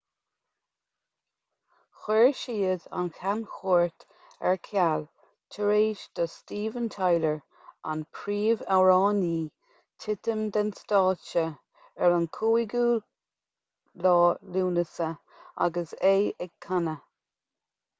chuir siad an chamchuairt ar ceal tar éis do steven tyler an príomhamhránaí titim den stáitse ar an 5 lúnasa agus é ag canadh